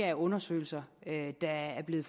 af undersøgelser der er blevet